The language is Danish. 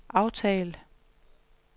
aftal